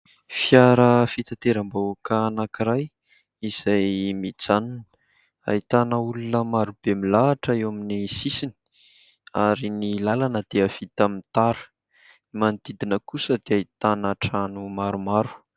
Fiara fitateram-bahoaka anankiray izay mijanona ; ahitana olona maro be milahatra eo amin'ny sisiny ary ny lalana dia vita amin'ny tara. Ny manodidina kosa dia ahitana trano maromaro.